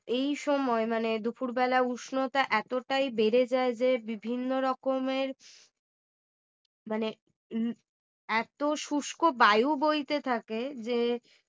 এই সময় মানে দুপুরবেলা উষ্ণতা এতটাই বেড়ে যায় যে বিভিন্ন রকমের মানে এত শুষ্ক বায়ু বয়তে থাকে যে